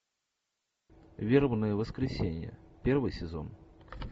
вербное воскресенье первый сезон